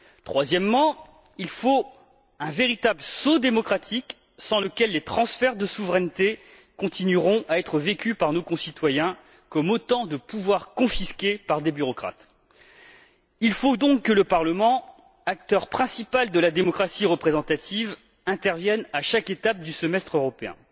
Troisièmement, il faut un véritable sceau démocratique, sans quoi les transferts de souveraineté continueront à être vécus par nos concitoyens comme autant de pouvoirs confisqués par des bureaucrates. Il faut donc que le Parlement, acteur principal de la démocratie représentative, intervienne à chaque étape du semestre européen.